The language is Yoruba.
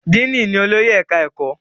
Diini ní olórí ẹka ẹkọ.